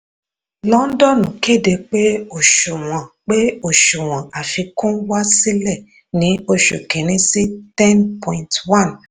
londonu kéde pé òṣùwọ̀n pé òṣùwọ̀n àfikún wá sílẹ̀ ní oṣù kíní sí 10.1 percent.